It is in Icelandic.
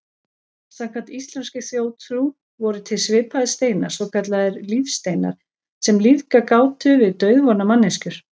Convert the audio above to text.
Samkvæmt íslenskri þjóðtrú voru til svipaðir steinar, svokallaðir lífsteinar, sem lífgað gátu við dauðvona manneskjur.